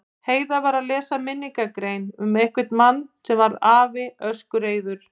Heiða var að lesa minningargrein um einhvern mann varð afi öskureiður.